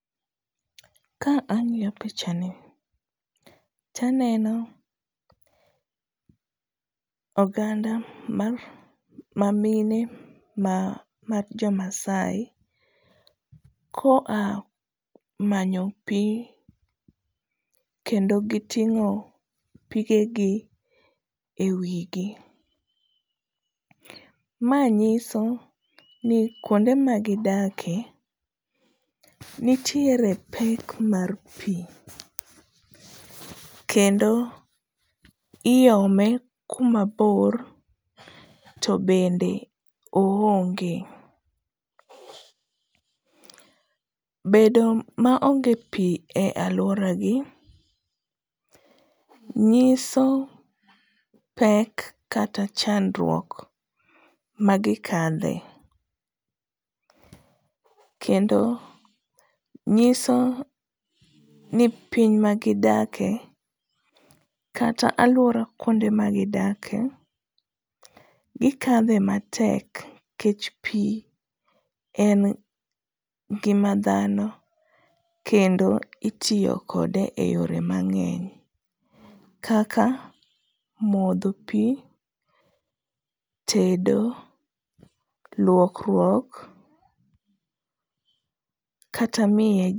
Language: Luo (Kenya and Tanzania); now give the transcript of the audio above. Ka ang'iyo picha ni to aneno oganda mag jomamine mag jo Maasai koa manyo pi kendo giting'o pigegi ewigi. Ma nyiso ni kuonde magidakie nitiere pek mar pi kendo iome kuma bor to bende oonge. Bedo maonge pi e aluoragi nyiso pek kata chandruok magikadhe kendo nyiso ni piny magidakie kata aluora kuonde ma gidakie gikadho e matek nikech pi en ngima dhano kendo itiyo kode eyore mang'eny kaka modho pi, tedo, luokruok kata miye..